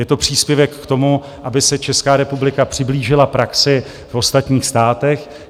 Je to příspěvek k tomu, aby se Česká republika přiblížila praxi v ostatních státech.